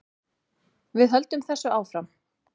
Við höldum þessu áfram